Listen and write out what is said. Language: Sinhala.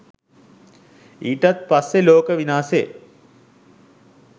ඊටත් පස්සෙ ලෝක විනාසෙ